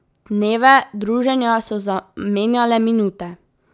Dneve druženja so zamenjale minute.